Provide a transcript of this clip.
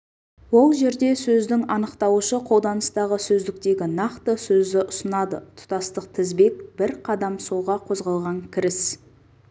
ол жерде сөздің анықтауышы қолданыстағы сөздіктегі нақты сөзді ұсынады тұтастық тізбек бір қадам солға қозғалған кіріс